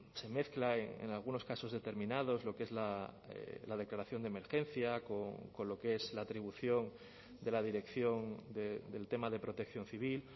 se mezcla en algunos casos determinados lo que es la declaración de emergencia con lo que es la atribución de la dirección del tema de protección civil